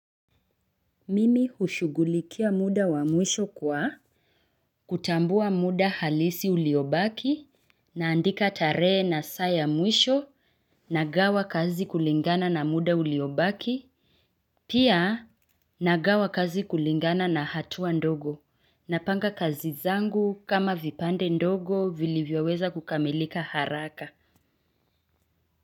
Mimi hushugulikia muda wa mwisho kwa kutambua muda halisi uliobaki naandika tarehe na saa ya mwisho nagawa kazi kulingana na muda uliobaki pia nagawa kazi kulingana na hatua ndogo napanga kazi zangu kama vipande ndogo vilivyoweza kukamilika haraka.